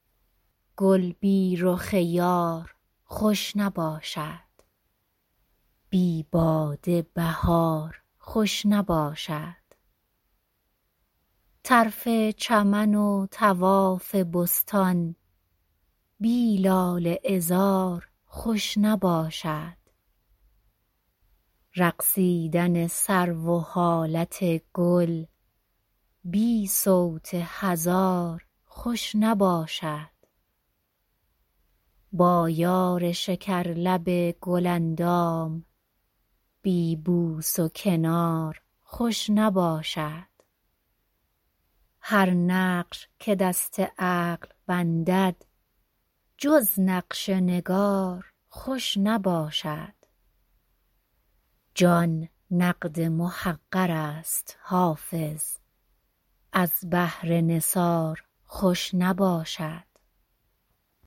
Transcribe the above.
گل بی رخ یار خوش نباشد بی باده بهار خوش نباشد طرف چمن و طواف بستان بی لاله عذار خوش نباشد رقصیدن سرو و حالت گل بی صوت هزار خوش نباشد با یار شکرلب گل اندام بی بوس و کنار خوش نباشد هر نقش که دست عقل بندد جز نقش نگار خوش نباشد جان نقد محقر است حافظ از بهر نثار خوش نباشد